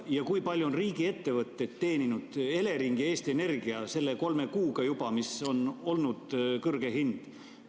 Ja kui palju on riigiettevõtted Elering ja Eesti Energia teeninud juba selle kolme kuuga, kui on olnud kõrge hind?